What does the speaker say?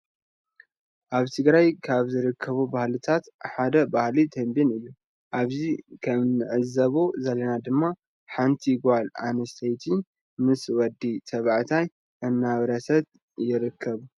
አብ ትግራይ ካብ ዝርከቡ ባህልታት ሓደ ባህሊ ቴቤን እዩ አብዚ ከም ንዕዘቦ ዘለና ድማ ሓንቲ ጋል አንስተይቲ ምስ ወዲ ተባዕትያይ እናውረሰት ይርከቡ።